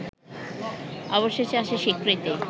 অবশেষে আসে স্বীকৃতি